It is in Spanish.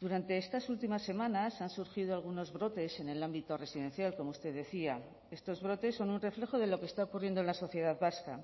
durante estas últimas semanas han surgido algunos brotes en el ámbito residencial como usted decía estos brotes son un reflejo de lo que está ocurriendo en la sociedad vasca